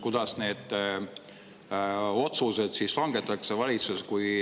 Kuidas need otsused langetatakse valitsuses?